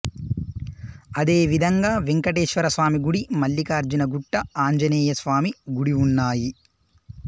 అదే విధంగా వెంకటేశ్వరస్వామి గుడి మల్లికార్జునగుట్ట ఆంజనేయ స్వామి గుడి ఉన్నాయి